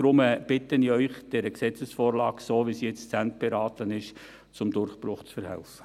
Deshalb bitte ich Sie, dieser Gesetzesvorlage, so wie sie jetzt zu Ende beraten ist, zum Durchbruch zu verhelfen.